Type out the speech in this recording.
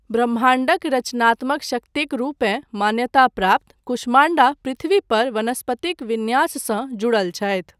ब्रह्माण्डक रचनात्मक शक्तिक रूपे मान्यता प्राप्त कुष्माण्डा पृथ्वी पर वनस्पतिक विन्याससँ जुड़ल छथि।